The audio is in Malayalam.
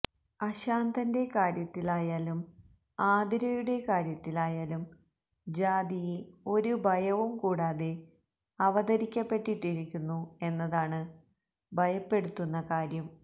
അശാന്തന്റെ കാര്യത്തിലായാലും ആതിരയുടെ കാര്യത്തിലായാലും ജാതിയെ ഒരു ഭയവും കൂടാതെ അവതരിപ്പിക്കപ്പെട്ടിരിക്കുന്നു എന്നതാണ് ഭയപ്പെടുത്തുന്ന കാര്യം